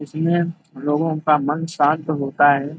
इसमें लोगो का मन शांत होता है ।